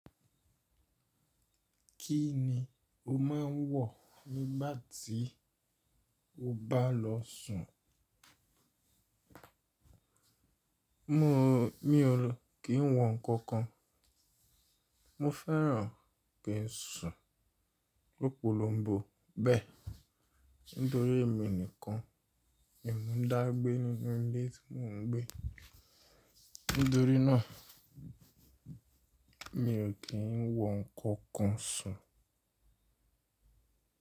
Kí ni o máa ń wọ̀ nígbà tí o bá lọ sùn? Mi ò kí ń wọ nǹkan kan. Mo fẹ́ran kí n sùn lọ́pọ̀lọpọ̀ bọ̀ bẹ́ẹ̀ nítorí èmi nìkan ni mo dá gbé nínú ilé tí mò ń gbé. Nítorí náà mi ò kí ń wọ nǹkan kan sùn.